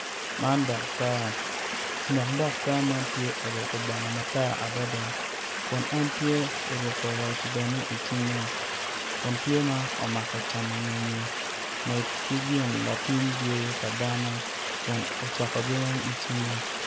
Man datar dok datar man tye oruku bongo matar adada kun en tye oruku roc bene i cinge kun tye ma omako camo ngenye med ki gin lampim yweyo pa dano kun ocoko giweny i cinge